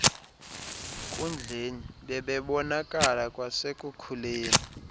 nkundleni bebebonakala kwasekukhuleni